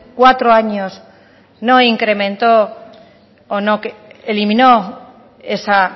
cuatro años no incrementó o no eliminó esa